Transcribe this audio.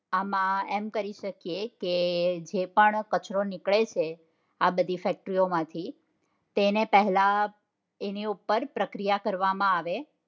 આમ એમ કરી શકીએ કે જેપણ કચરો નીકળે છે આ બધી fectory ઓ માંથી તેને પહેલા તેની ઉપ્પર પ્રક્રિયા કરવા માં આવે